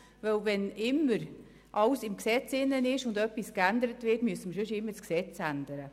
Wenn alles im Gesetz festgelegt ist und etwas geändert werden muss, müssen wir immer das Gesetz ändern.